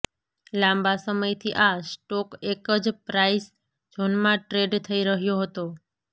લાંબા સમયથી આ સ્ટોક એકજ પ્રાઇસ ઝોનમાં ટ્રેડ થઇ રહ્યો હતો